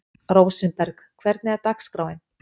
Rósinberg, hvernig er dagskráin?